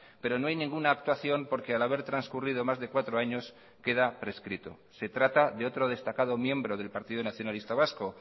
pero no hay ninguna actuación porque al haber transcurrido más de cuatro años queda prescrito se trata de otro destacado miembro del partido nacionalista vasco